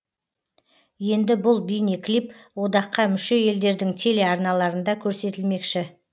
енді бұл бейнеклип одаққа мүше елдердің телеарналарында көрсетілмекші